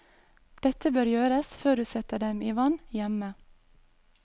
Dette bør gjøres rett før du setter dem i vann hjemme.